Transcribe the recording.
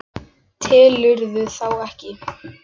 Telurðu þá ekki?